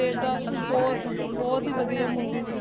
ਦੇਵਦਾਸ ਬਹੁਤ ਵਦੀਆ Movie ਸੀ